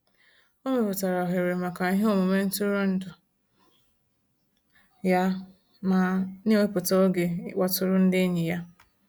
O mepụtara ohere maka iheomume ntụrụndụ ya ma na-ewepụta oge ịkpọtụrụ ndị enyi ya.